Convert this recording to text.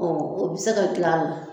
o bɛ se ka gilan la.